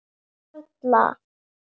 Anda varla.